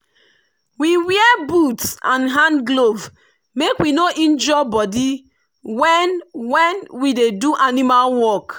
we wear boot and hand glove make we no injure body when when we dey do animal work.